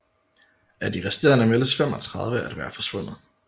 Af de resterende meldes 35 at være forsvundet